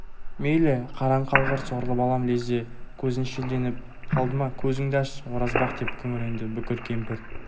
мейлі қараңқалғыр сорлы балам лезде көзің шелденіп қалды ма көзіңді аш оразбақ деп күңіренді бүкір кемпір